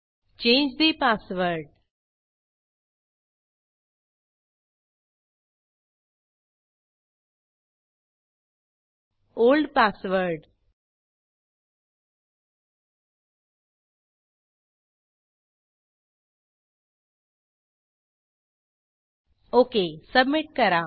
change the password old password okay submit करा